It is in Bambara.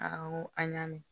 n ko an y'a mɛn